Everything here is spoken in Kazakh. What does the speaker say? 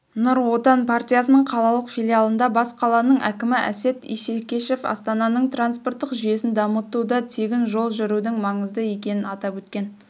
нұрт отан партиясының қалалық филиалында бас қаланың әкімі әсет исекешев астананың транспорттық жүйесін дамытуда тегін жол жүрудің маңызды екенін атап өткен